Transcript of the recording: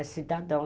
É cidadão.